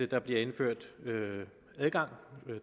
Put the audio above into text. der bliver indført adgang